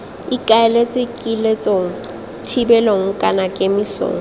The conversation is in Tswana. ikaeletswe kiletsong thibelong kana kemisong